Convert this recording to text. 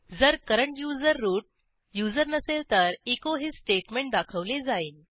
जर current user root user नसेल तर एचो हे स्टेटमेंट दाखवले जाईल